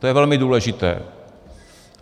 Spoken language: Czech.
To je velmi důležité.